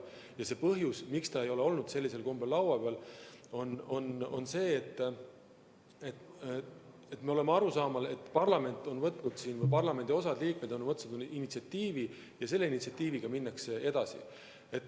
Ja põhjus, miks ta ei ole sellisel kombel laua peal olnud, on see, et me oleme arusaamal, et osa parlamendi liikmeid on võtnud initsiatiivi ja selle initsiatiiviga minnakse edasi.